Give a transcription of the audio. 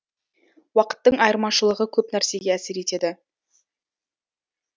уақыттың айырмашылығы көп нәрсеге әсер етеді